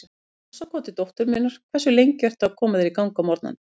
Í hálsakoti dóttur minnar Hversu lengi ertu að koma þér í gang á morgnanna?